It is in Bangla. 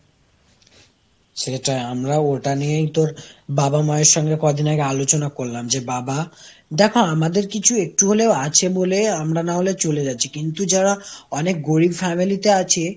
সেটাই আমরা ওটা নিয়েই তোর বাবা-মায়ের সঙ্গে কদিন আগে আলোচনা করলাম যে বাবা দেখো, আমাদের কিছু একটু হলেও আছে বলেই আমরা না হলে চলে যাচ্ছি কিন্তু যারা অনেক গরীব family তে আছে,